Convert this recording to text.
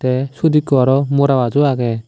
te sot ekko aro mora gaj o aage.